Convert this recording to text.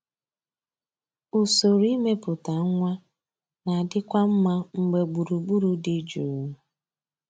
Usoro imepụta nwa na-adịkwu mma mgbe gburugburu dị jụụ.